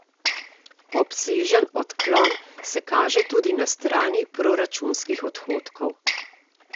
Obsežen odklon se kaže tudi na strani proračunskih odhodkov.